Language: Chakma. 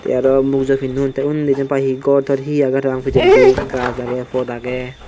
tey arw mugujo pinnon tey unni jen pai hi gor tor hi agey parapang pijendi gaj agey pot agey.